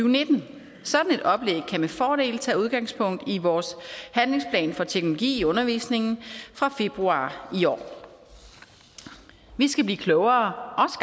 og nitten sådan et oplæg kan med fordel tage udgangspunkt i vores handlingsplan for teknologi i undervisningen fra februar i år vi skal blive klogere